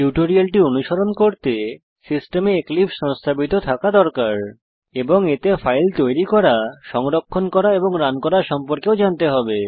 টিউটোরিয়ালটি অনুসরণ করতে সিস্টেমে এক্লিপসে সংস্থাপিত থাকা দরকার এবং এতে ফাইল তৈরী করা সংরক্ষণ করা এবং রান করা সম্পর্কেও জানতে হবে